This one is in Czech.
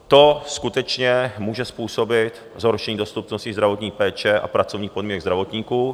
To skutečně může způsobit zhoršení dostupnosti zdravotní péče a pracovních podmínek zdravotníků.